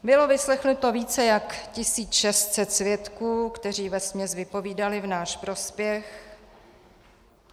Bylo vyslechnuto více než 1 600 svědků, kteří vesměs vypovídali v náš prospěch.